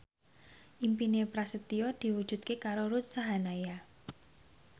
impine Prasetyo diwujudke karo Ruth Sahanaya